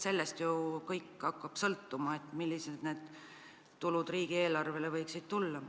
Sellest ju hakkab sõltuma, milline tulu riigieelarvesse juurde võiks tulla.